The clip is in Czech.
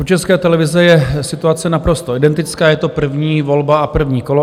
U České televize je situace naprosto identická, je to první volba a první kolo.